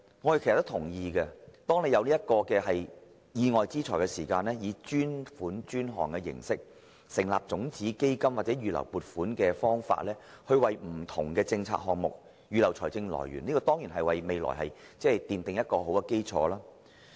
我們也同意，每當有意外之財時，應以專款專項形式成立種子基金或以預留撥款的方法，為不同的政策項目預留財政來源，為未來奠定一個良好的基礎。